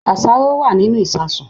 Àṣàrò wà nínú ìsasùn